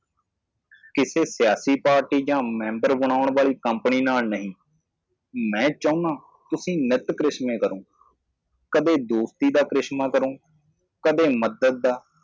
ਕਿਸੇ ਸਿਆਸੀ ਪਾਰਟੀ ਜਾਂ ਮੈਂਬਰ ਬਣਾਉਣ ਵਾਲੀ ਕੰਪਨੀ ਨਾਲ ਸਬੰਧਤ ਨਹੀਂ ਹੈ ਮੈਂ ਚਾਹੁੰਦਾ ਹਾਂ ਕਿ ਤੁਸੀਂ ਹਮੇਸ਼ਾ ਕਰਿਸ਼ਮਾ ਕਰੋ ਕਦੇ ਦੋਸਤੀ ਦਾ ਕਰਿਸ਼ਮਾ ਕਰੋ, ਕਦੇ ਮਦਦ ਦਾ